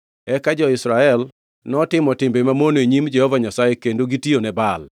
Eka jo-Israel notimo timbe mamono e nyim Jehova Nyasaye kendo gitiyone Baal.